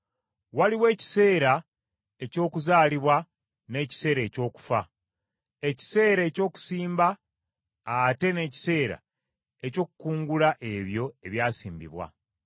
Waliwo ekiseera eky’okuzaalibwa n’ekiseera eky’okufa; ekiseera eky’okusimba ate n’ekiseera eky’okukungula ebyo ebyasimbibwa;